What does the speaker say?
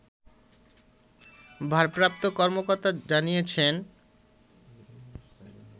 ভারপ্রাপ্ত কর্মকর্তা জানিয়েছেন